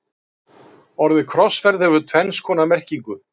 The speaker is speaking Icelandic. orðið krossferð hefur tvenns konar merkingu